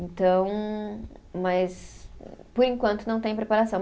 Então, mas por enquanto não tem preparação.